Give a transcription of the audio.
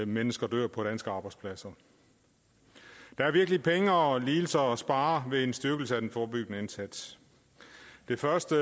mennesker dør på danske arbejdspladser der er virkelig penge og lidelser at spare ved en styrkelse af den forebyggende indsats det første